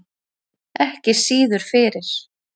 Ekki síður fyrir